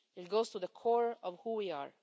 It goes to the core of who we are.